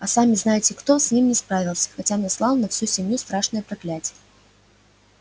а сами-знаете-кто с ним не справился хотя наслал на всю семью страшное проклятие